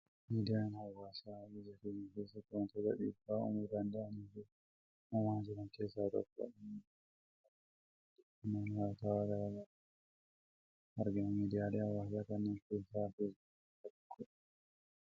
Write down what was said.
Miidiyaan hawwaasaa biyya keenya keessatti wantoota dhiibbaa uumuu danda’anii fi uumaa jiran keessaa tokkodha. Miidiyaa hawwaasaa fayyadamuun odeeffannoowwan wayitawaa gara garaa yeroo yeroon argina. Miidiyaalee hawwaasaa kanneen keessaa feesbuukiin isa tokkoodha